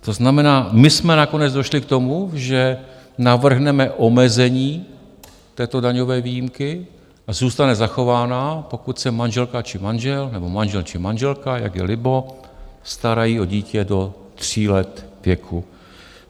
To znamená, my jsme nakonec došli k tomu, že navrhneme omezení této daňové výjimky a zůstane zachována, pokud se manželka či manžel, nebo manžel či manželka, jak je libo, starají o dítě do tří let věku.